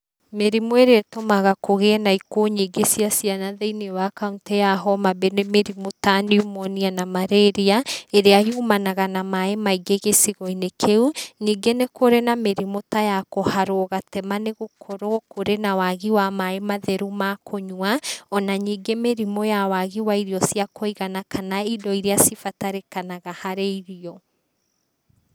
Mĩrimũ ĩrĩa ĩtũmaga kũgie na ikuo nyingĩ cia ciana, thĩiniĩ wa kauntĩ ya homabay nĩ mĩrimũ ta pnumonia na malaria ĩrĩa yumanaga na maaĩ maingĩ gĩcigo-inĩ kĩu, ningĩ nĩkũrĩ mĩrimũ ta ya kũharwo gatema, nĩgũkorwo kũrĩ na wagi wa maaĩ matheru, makunyua, ona ningĩ mĩrimũ ya wagi wa irio cia kũigana, kana indo iria cibatarĩkanaga harĩ irio.